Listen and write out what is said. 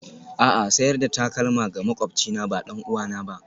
A'a, sayar da takalma ga maƙwabcina ba ɗan'uwana ba.